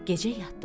Gecə yatdılar.